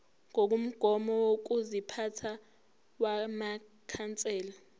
ngokomgomo wokuziphatha wamakhansela